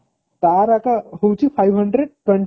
ତାର ତ ହଉଛି five hundred twenty